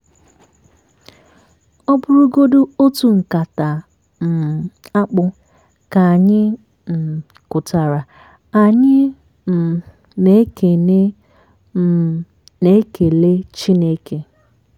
ọ bụrụgodi otu nkata um akpụ ka anyị um kụtara anyị um na-ekele um na-ekele chineke.